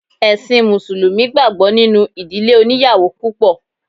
Ẹ̀ṣin mùsùlùmí gbàgbọ́ nínú ìdílé oníyàwò púpọ̀.